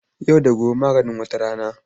Yau da gobe maganin wata rana.